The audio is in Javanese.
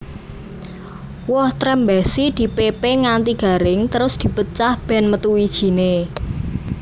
Woh Trembesi dipépé nganti garing terus dipecah bèn metu wijiné